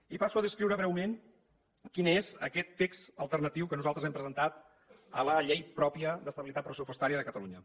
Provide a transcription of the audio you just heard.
i passo a descriure breument quin és aquest text alternatiu que nosaltres hem presentat a la llei pròpia d’estabilitat pressupostària de catalunya